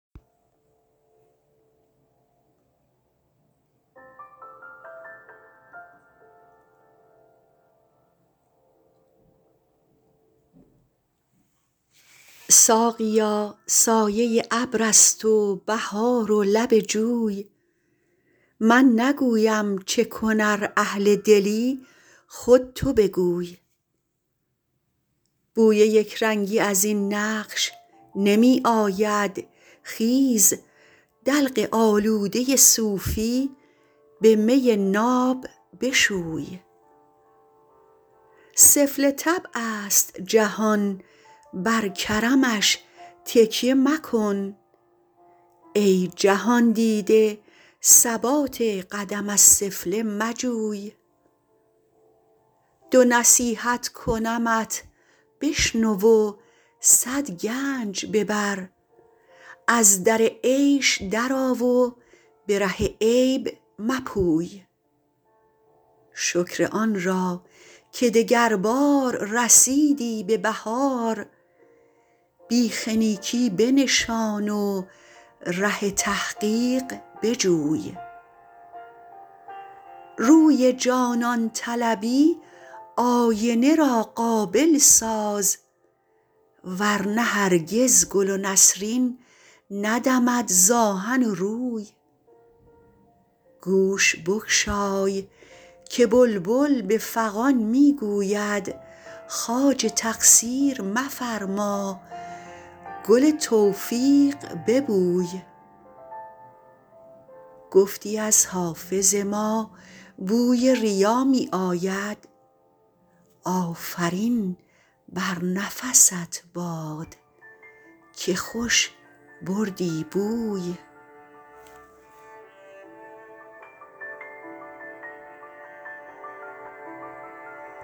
ساقیا سایه ابر است و بهار و لب جوی من نگویم چه کن ار اهل دلی خود تو بگوی بوی یک رنگی از این نقش نمی آید خیز دلق آلوده صوفی به می ناب بشوی سفله طبع است جهان بر کرمش تکیه مکن ای جهان دیده ثبات قدم از سفله مجوی دو نصیحت کنمت بشنو و صد گنج ببر از در عیش درآ و به ره عیب مپوی شکر آن را که دگربار رسیدی به بهار بیخ نیکی بنشان و ره تحقیق بجوی روی جانان طلبی آینه را قابل ساز ور نه هرگز گل و نسرین ندمد ز آهن و روی گوش بگشای که بلبل به فغان می گوید خواجه تقصیر مفرما گل توفیق ببوی گفتی از حافظ ما بوی ریا می آید آفرین بر نفست باد که خوش بردی بوی